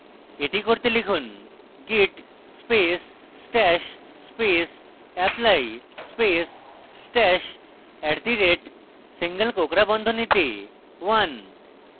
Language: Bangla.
এটি করতে লিখুন: git space stash space apply space stash @single কোঁকড়া বন্ধনীতে 1